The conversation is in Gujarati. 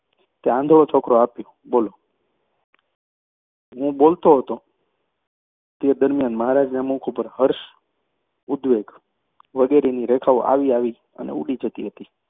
તે આંધળો છોકરો આપ્યો, બોલો! હું બોલતો હતો તે દરમિયાન મહારાજના મુખ ઉપર હર્ષ, ઉદ્વેગ વગેરેની રેખાઓ આવી આવીને ઊડી જતી હતી.